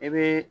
I bɛ